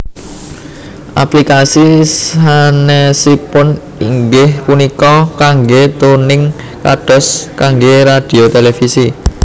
Aplikasi sanesipun inggih punika kangge tuning kados kangge radhio televisi